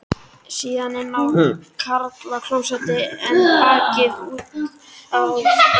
Síðan inn á karlaklósett en bakkaði út aftur.